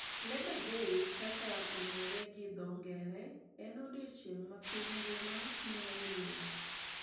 Labour day kaka ong`ere gi dho ngere en odiechieng` ma piny ngima miyo lwor.